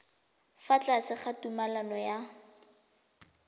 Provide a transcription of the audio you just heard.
fa tlase ga tumalano ya